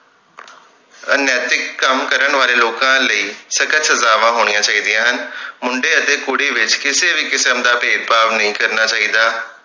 ਅਨੈਤਿਕ ਕੰਮ ਕਰਨ ਵਾਲੇ ਲੋਕਾਂ ਲਈ ਸਖਤ ਸਜਾਵਾਂ ਹੋਣੀਆਂ ਚਾਹੀਦੀਆਂ ਹਨ ਮੁੰਡੇ ਅਤੇ ਕੁੜੀ ਵਿਚ ਕਿਸੇ ਵੀ ਕਿਸਮ ਦਾ ਭੇਦਭਾਵ ਨਹੀਂ ਕਰਨਾ ਚਾਹੀਦਾ